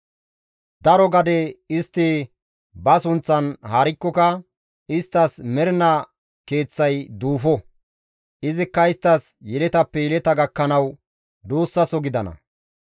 Daro gade istti ba sunththan haarikkoka isttas mernaa keeththay duufo; izikka isttas yeletappe yeleta gakkanawu duussaso gidana.